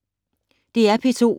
DR P2